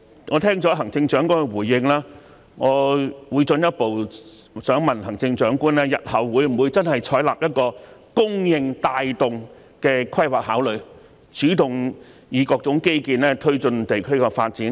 我聽到行政長官的回應後，想進一步問行政長官日後會否採納供應帶動的規劃考慮，主動以各種基建推進地區的發展？